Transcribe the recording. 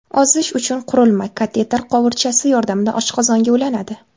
Ozish uchun qurilma kateter quvurchasi yordamida oshqozonga ulanadi.